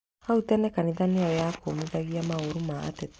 Hau tene kanitha nĩyo yakũmithagia maũru ma ateti